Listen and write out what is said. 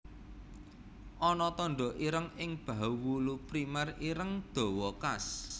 Ana tanda ireng ing bahu wulu primer ireng dawa khas